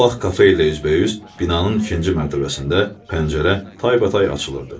Bu vaxt kafe ilə üzbəüz binanın ikinci mərtəbəsində pəncərə taybatay açılırdı.